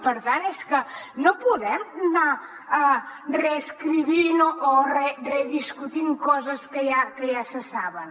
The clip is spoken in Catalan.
per tant és que no podem anar reescrivint o rediscutint coses que ja se saben